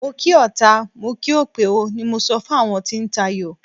Mo kí ọta, mo kí òpè o, ni mo sọ fún àwọn tí ń tayò.